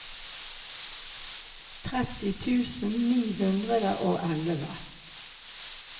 tretti tusen ni hundre og elleve